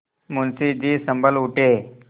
मुंशी जी सँभल उठे